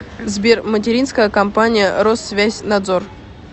сбер материнская компания россвязьнадзор